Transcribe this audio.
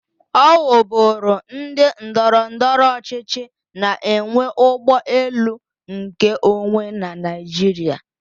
Ọ wu bụrụ ndị ndọrọndọrọ ọchịchị na enwe ụgbọ elu nkeonwe na Naịjirịa.